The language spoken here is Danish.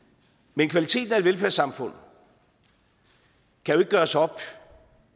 men kvaliteten af et velfærdssamfund kan jo ikke gøres op